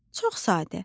Çox sadə.